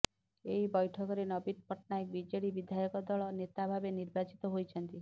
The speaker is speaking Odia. ଏହି ବୈଠକରେ ନବୀନ ପଟ୍ଟନାୟକ ବିଜେଡି ବିଧାୟକ ଦଳ ନେତା ଭାବେ ନିର୍ବାଚିତ ହୋଇଛନ୍ତି